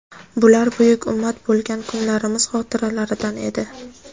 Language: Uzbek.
Bular buyuk ummat bo‘lgan kunlarimiz xotiralaridan edi.